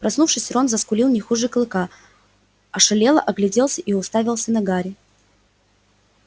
проснувшись рон заскулил не хуже клыка ошалело огляделся и уставился на гарри